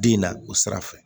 Bin na o sira fɛ